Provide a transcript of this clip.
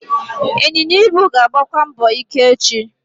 Ịnyịnya ibu ga-agbakwa mbọ ike echi.